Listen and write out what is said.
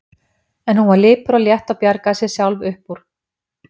En hún var lipur og létt og bjargaði sér sjálf upp úr.